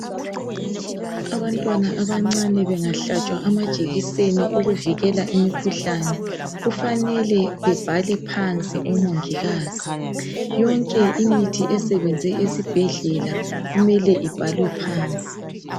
Abantwana abancane bengahlatshwa amajekiseni okuvikela imikhuhlane kufanele bebhale phansi omongikazi. Yonke imithi esebenze esibhedlela kumele ibhalwe phansi.